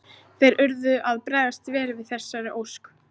Þeir urðu að bregðast vel við þessari ósk.